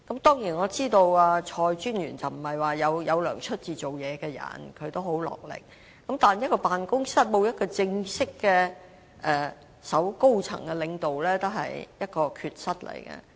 當然，我知道蔡專員並非要收取薪酬才做事，她很賣力，但一個辦公室沒有正式的高層領導也是一種缺失。